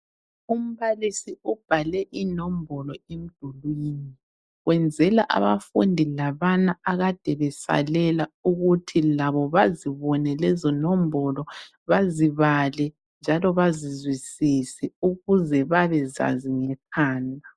Umbalisi ubhale inombolo emdulwini wenzela abafundi labana akade besalela ukuthi labo bazibone lezo nombolo, bazibale njalo bazizwisise ukuze bebezazi ngekhanda.